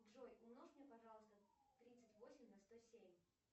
джой умножь мне пожалуйста тридцать восемь на сто семь